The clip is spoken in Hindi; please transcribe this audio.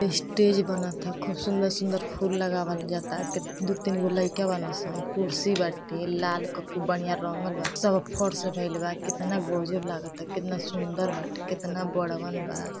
स्टेज बनत ह खुब सुंदर-सुंदर फुल लगावल जाता क दो-तीन गो लइका बाड़न सनकुर्शी बाटे लाल क खूब बढियाँ रंगल बा सब फर्श भइल बा केतना गजब लागता केतना सुंदर बाटे केतना बड़हन बा।